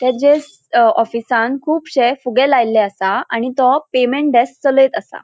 तेजेच अ ऑफिसान खुबशे फुग्गे लायलेले असा. आणि तो पेमेंट डेस्क चलयत असा.